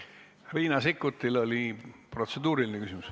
Riina Sikkutil oli protseduuriline küsimus.